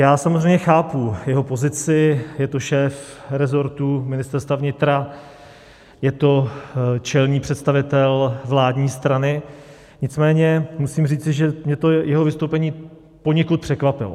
Já samozřejmě chápu jeho pozici, je to šéf resortu Ministerstva vnitra, je to čelný představitel vládní strany, nicméně musím říci, že mě to jeho vystoupení poněkud překvapilo.